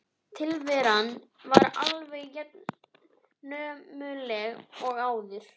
Tilveran var alveg jafnömurleg og áður.